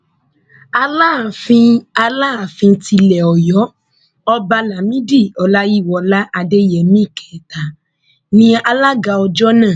alaafin alaafin tilẹ ọyọ ọba lámìdí ọláyíwọlá adéyẹmi kẹta ní alága ọjọ náà